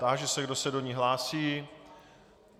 Táži se, kdo se do ní hlásí.